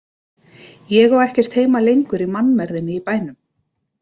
Ég á ekkert heima lengur í mannmergðinni í bænum.